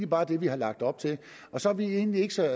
bare det vi har lagt op til så er vi egentlig ikke så